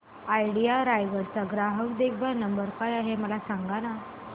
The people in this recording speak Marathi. आयडिया रायगड चा ग्राहक देखभाल नंबर काय आहे मला सांगाना